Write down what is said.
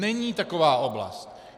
Není taková oblast.